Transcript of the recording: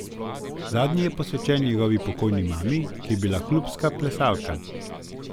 Zadnji je posvečen njegovi pokojni mami, ki je bila klubska plesalka.